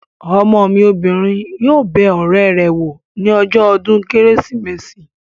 Ọmọ mi obìnrin yóò bẹ ọ̀rẹ́ rẹ̀ wò ní ọjọ́ ọdún kérésìmesì